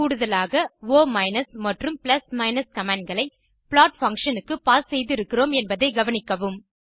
கூடுதலாக ஒ மற்றும் கமாண்ட் களை ப்ளாட் பங்ஷன் க்கு பாஸ் செய்திருக்கிறோம் என்பதை கவனிக்கவும்